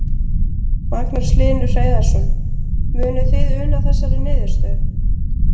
Magnús Hlynur Hreiðarsson: Munuð þið una þessari niðurstöðu?